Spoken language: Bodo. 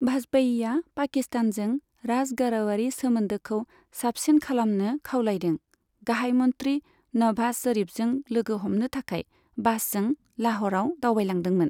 भाजपेयीआ पाकिस्तानजों राज गारावारि सोमोन्दोखौ साबसिन खालामनो खावलायदों, गाहाय मन्थ्रि नभाज शरीफजों लोगो हमनो थाखाय बासजों लाह'राव दावबायलांदोंमोन।